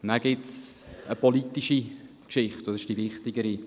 Nachher gibt es eine politische Geschichte, und dies ist die wichtigere.